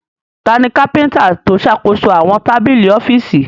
Tani kápíntà tó ṣàkóso àwọn tábìlì ọ́fíìsì?